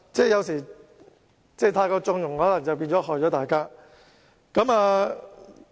有時候，太過縱容便可能會害了大家。